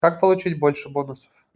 как получить больше бонусов